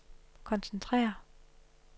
koncentrere